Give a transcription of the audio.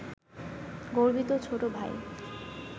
গর্বিত ছোট ভাই